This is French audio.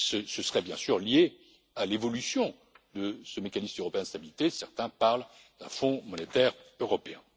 Ce serait bien sûr lié à l'évolution de ce mécanisme européen de stabilité certains parlent d'un Fonds monétaire européen.